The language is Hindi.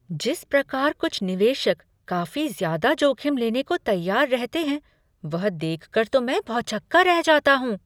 जिस प्रकार कुछ निवेशक काफी ज्यादा जोखिम लेने को तैयार रहते है, वह देख कर तो मैं भौचक्का रह जाता हूँ।